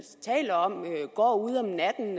taler om går ud om natten